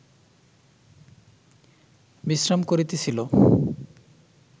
বিশ্রাম করিতেছিল